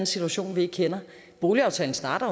situation vi ikke kender boligaftalen starter